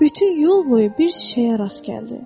Bütün yol boyu bir çiçəyə rast gəldi.